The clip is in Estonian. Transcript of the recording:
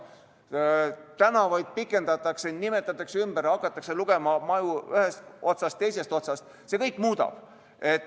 Tänavaid pikendatakse, nimetatakse ümber, hakatakse lugema maju ühest või teisest otsast, see kõik seda muudab.